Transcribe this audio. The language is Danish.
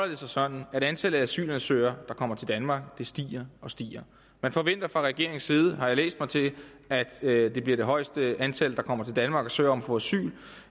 det sig sådan at antallet af asylansøgere der kommer til danmark stiger og stiger man forventer fra regeringens side har jeg læst mig til at det bliver det højeste antal der kommer til danmark og søger om at få asyl